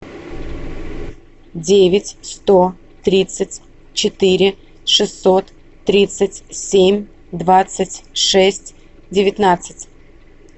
девять сто тридцать четыре шестьсот тридцать семь двадцать шесть девятнадцать